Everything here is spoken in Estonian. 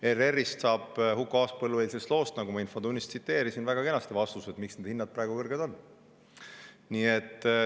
ERR‑ist saab Huko Aaspõllu eilsest loost, nagu ma infotunnis tsiteerisin, väga kenasti vastused, miks need hinnad praegu kõrged on.